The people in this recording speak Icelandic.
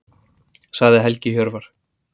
Sagði Helgi Hjörvar.